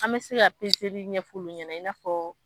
An bɛ se ka ɲɛfɔ olu ɲɛna i n'a fɔɔ.